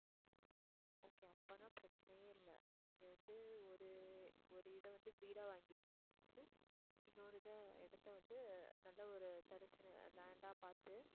okay அப்படின்னா பிரச்சனையே இல்ல இங்க வந்து ஒரு ஒரு இதை வந்து வீடா வாங்கிட்டு இன்னொரு இதை இடத்தை வந்து நல்ல ஒரு தரிசா நி~ land ஆ பாத்து